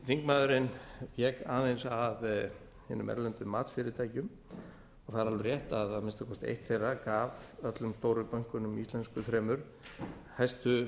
þingmaðurinn vék aðeins að hinum erlendu matsfyrirtækjum og það er alveg rétt að að minnsta kosti eitt þeirra gaf öllum stóru bönkunum íslensku þremur hæstu